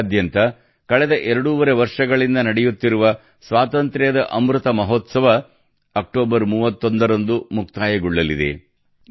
ದೇಶಾದ್ಯಂತ ಕಳೆದ ಎರಡೂವರೆ ವರ್ಷಗಳಿಂದ ನಡೆಯುತ್ತಿರುವ ಸ್ವಾತಂತ್ರ್ಯದ ಅಮೃತ ಮಹೋತ್ಸವ ಅಕ್ಟೋಬರ್ 31ರಂದು ಮುಕ್ತಾಯಗೊಳ್ಳಲಿದೆ